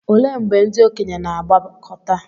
olee mgbe ndị okenye na-agbakọta